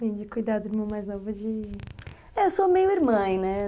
Vem de cuidar do meu mais novo de... É, eu sou meio irmã, né?